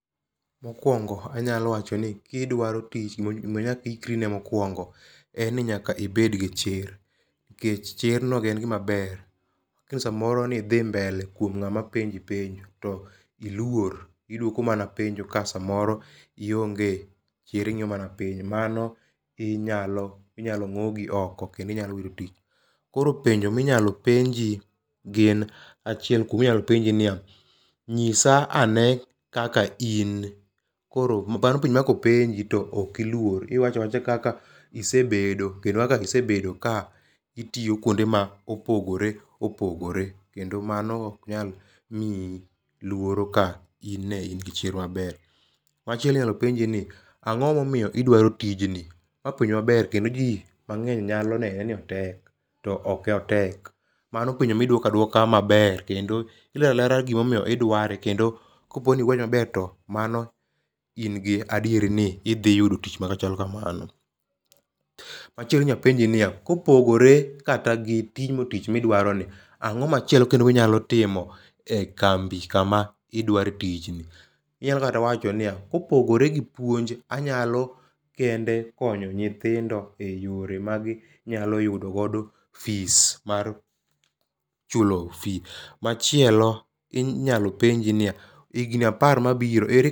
Mokwongo anyalo wacho ni kidwaro tich gima nyaka i ikri ne mokwongo en ni nyaka ibed gi chir. Nikech chir no en gima ber. Samoro ni dhi mbele kuom ng'ama penji penjo to iluor. Iduoko mana penjo ka samaoro ionge chir ing'iyo mana piny. Mano inyalo ngogi oko kendo inyalo wito tich. Koro penjo minyalo penji gin achilel kuom inyalo penji niya - nyisa ane kaka in. Koro mano penjo ma kopenji to ok iluor. Iwacho awacha kaka isebedo kenndo kaka isebedo ka itiyo kuonde ma opogore opogore. Kendo mano ok nyal miyi luoro ka in ne in gi chir maber. Machielo inyalo penji ni - ang'o momiyo idwaro tij ni? Ma penjo maber kendo ji mang'eny nyalo nene ni otek to ok otek. Mano penjo miduoko aduoka maber. Kendo ilero alera gimomiyo idware kendo kopo ni iwache maber mano in gadieri ni idhi yudo tich machal kamano. Machielo inyalo penji niya - kopogore kata gi timo tich midwaro ni, ang'o machielo kendo minyalo timo e kambi kama idware tich ni? Inyalo kata wacho niya, kopogore gi puonj anyalo kendekonyo nyithindo e yore maginyalo yudogodo fees mar chulo fees. Machielo inyalo penji niya, higni apar mabiro